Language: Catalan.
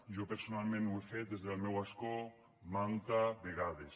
jo personalment ho he fet des del meu escó manta vegades